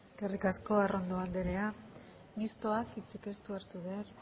eskerrik asko arrondo anderea mistoak ez du hitzik hartu behar